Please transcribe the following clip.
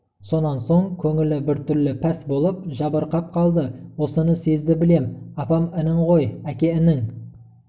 сонан соң көңілі біртүрлі пәс болып жабырқап қалды осыны сезді білем апам інің ғой әке інің